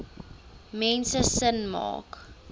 mense sin maak